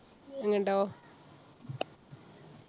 എന്നിട്ടോ?